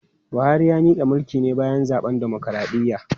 Buhari ya mika mulki ne bayan zaben dimokradiyya.